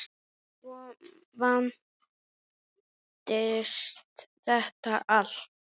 Svo vandist þetta allt.